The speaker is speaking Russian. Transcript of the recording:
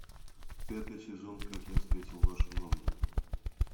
пятый сезон как я встретил вашу маму